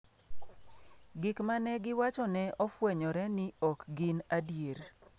Gik ma ne giwacho ne ofwenyore ni ok gin adier.